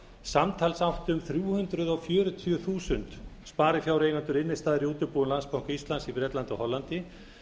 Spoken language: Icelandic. samtals áttu um þrjú hundruð fjörutíu þúsund sparifjáreigendur innstæður í útibúum landsbanka íslands í bretlandi og hollandi